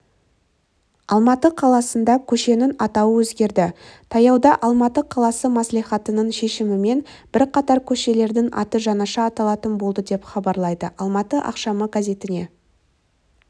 алматы қаласында көшенің атауы өзгерді таяуда алматы қаласы мәслихатының шешімімен бірқатар көшелердің аты жаңаша аталатын болды деп хабарлайды алматы ақшамы газетіне